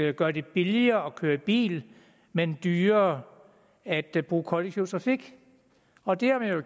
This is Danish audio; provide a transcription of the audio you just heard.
at gøre det billigere at køre i bil men dyrere at at bruge kollektiv trafik og det